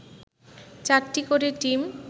৪টি করে টিম